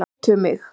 Keyptu mig?